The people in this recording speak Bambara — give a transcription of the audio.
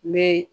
N bɛ